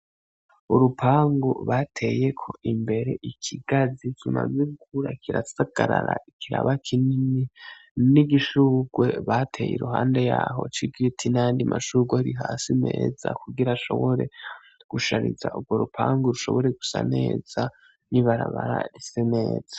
Urupangu bateyeko imbere ikigazi kimaze gukura kirasagarara ikiraba kinini n'igishurwe bateye iruhande yaho ico giti n'ayandi mashurwe ari hasi meza kugira ashobore gushariza urwo rupangu rushobore gusa neza ni barabara rise meza.